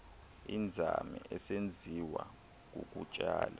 inzame isenziwa kukutsala